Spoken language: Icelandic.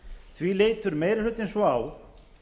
því lítur meiri hlutinn svo á